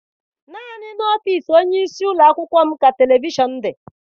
Naanị n'ọfịịsi onyeisi ụlọakwụkwọ m ka televishọn dị.